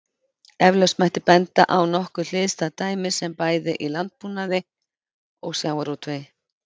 Eflaust mætti benda á nokkuð hliðstæð dæmi bæði í landbúnaði og sjávarútvegi.